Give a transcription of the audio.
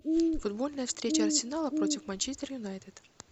футбольная встреча арсенала против манчестер юнайтед